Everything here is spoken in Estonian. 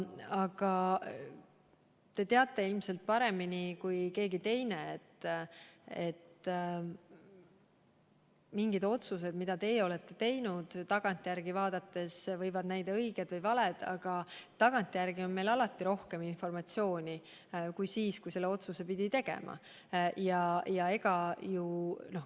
Aga te teate ilmselt paremini kui keegi teine, et mingid otsused, mida teie olete teinud, võivad tagantjärele vaadates näida õiged või valed, aga tagantjärele on meil alati rohkem informatsiooni kui siis, kui selle otsuse tegema pidi.